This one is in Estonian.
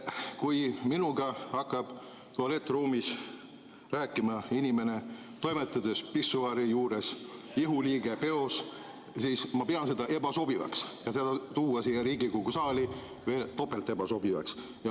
Kui minuga hakkab tualettruumis rääkima inimene, toimetades pissuaari juures ihuliige peos, siis ma pean seda ebasobivaks, ja seda tuua siia Riigikogu saali pean veel topelt ebasobivaks.